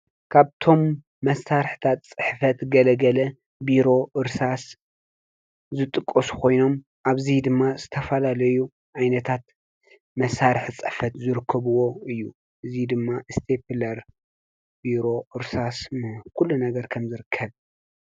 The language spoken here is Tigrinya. ካብቶም መሣርሕታት ጽሕፈት ገለገለ ብሮ ወርሳስ ዝጥቆ ስኾይኖም ኣብዙይ ድማ ዝተፋላለዩ ኣይነታት መሣርሕ ጽፈት ዝርክብዎ እዩ እዙይ ድማ እስቴብለር ብሮ ዕርሳስ ም ኲሉ ነገር ከም ዘርከብ